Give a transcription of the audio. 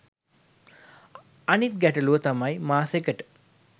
අනිත් ගැටළුව තමයි මාසෙකට